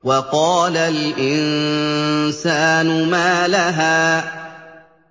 وَقَالَ الْإِنسَانُ مَا لَهَا